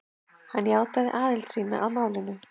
Hann játaði aðild sína að málinu